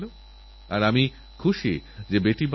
ডেঙ্গুর কথাই ধরুন ডেঙ্গু থেকে বাঁচা সম্ভব